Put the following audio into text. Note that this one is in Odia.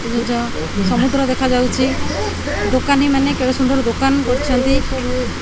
ସମୁଦ୍ର ଦେଖାଯାଉଛି ଦୋକାନୀ ମାନେ କେଡ଼େ ସୁନ୍ଦର୍ ଦୋକାନ କରିଛନ୍ତି।